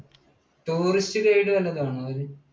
tourist guide വല്ലതുമാണോ അവർ?